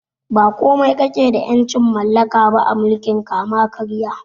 Ba komai kakeda ƴancin mallaka ba a mulkin kama karya